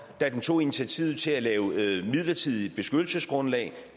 da den tog initiativet til at lave det midlertidige beskyttelsesgrundlag